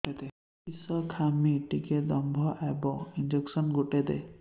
କିସ ଖାଇମି ଟିକେ ଦମ୍ଭ ଆଇବ ଇଞ୍ଜେକସନ ଗୁଟେ ଦେ